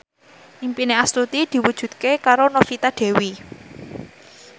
impine Astuti diwujudke karo Novita Dewi